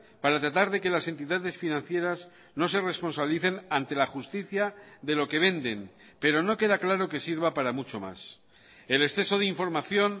para tratar de que las entidades financieras no se responsabilicen ante la justicia de lo que venden pero no queda claro que sirva para mucho más el exceso de información